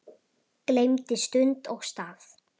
gleymdi stund og stað.